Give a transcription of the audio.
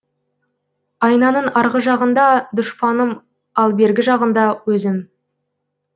айнаның арғы жағында дұшпаным ал бергі жағында өзім